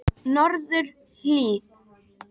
Norðurhlíð